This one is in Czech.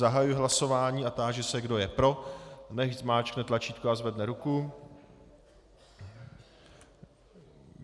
Zahajuji hlasování a táži se, kdo je pro, nechť zmáčkne tlačítko a zvedne ruku.